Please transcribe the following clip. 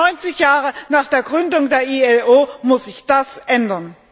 90 Jahre nach der Gründung der IAO muss sich das ändern.